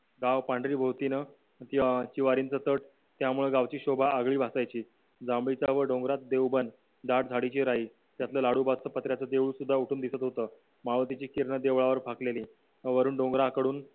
गाव पांढरी भोवतीने अं चीवरींच चाट त्यामुळे गावची शोभा आगळी भासायची जांभळीच्या व डोंगरात देवबंद दाट झाडी जे राहील त्यातला लाडोबाचे पत्र्याचे देऊळसुद्धा उठून दिसत होतं मावळतीची किरण देवळावर फाकलेली वरून डोंगराकडून